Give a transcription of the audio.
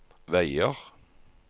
veier